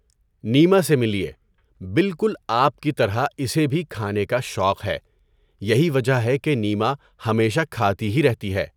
نیما سے ملیے۔ بالکل آپ کی طرح اسے بھی کھانے کا شوق ہے۔ یہی وجہ ہے کہ نیما ہمیشہ کھاتی ہی رہتی ہے۔